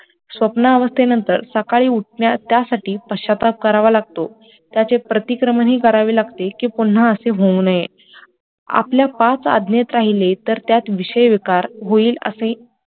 स्वप्नाअवस्थे नंतर सकाळी उठण्यात, त्यासाठी पश्चाताप करावा लागतो त्याचे प्रतिकारणही करावे लागते कि पुन्हा असे होऊ नये आपल्या पाच आज्ञेत राहिले तर त्यात विषय विकार होईल असे